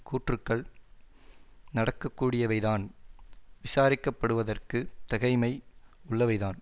கூற்றுக்கள் நடக்கக்கூடியவைதான் விசாரிக்கப்படுவதற்கு தகைமை உள்ளவைதான்